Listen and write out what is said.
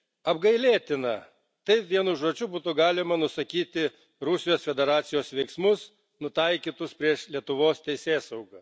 Apgailėtina taip vienu žodžiu būtų galima nusakyti Rusijos Federacijos veiksmus, nutaikytus prieš Lietuvos teisėsauga.